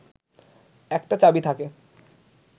একটা চাবি থাকে